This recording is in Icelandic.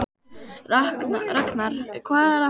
Raknar, hvað er að frétta?